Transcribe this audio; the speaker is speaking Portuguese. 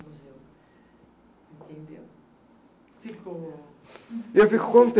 do museu, entendeu? ficou... Eu fico